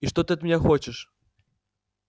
и что ты от меня хочешь